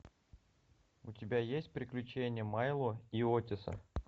у тебя есть приключения майло и отиса